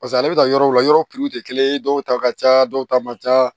Paseke ale bɛ taa yɔrɔw la yɔrɔ tɛ kelen ye dɔw ta ka ca dɔw ta man ca